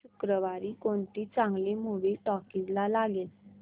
या शुक्रवारी कोणती चांगली मूवी टॉकीझ ला लागेल का